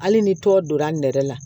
Hali ni tɔ donna nɛrɛ la